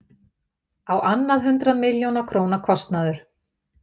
Á annað hundrað milljóna króna kostnaður